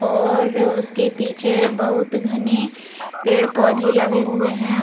और उसके पीछे बहुत घने पेड़-पौधे लगे हुए हैं ।